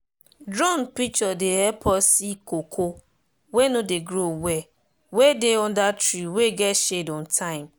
drone picture dey help us see cocoa wey no dey grow well wey dey under tree wey get shade on time.